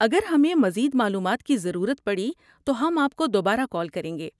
اگر ہمیں مزید معلومات کی ضرورت پڑی تو ہم آپ کو دوبارہ کال کریں گے۔